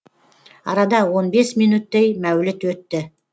арада он бес минөттей мәуліт өтті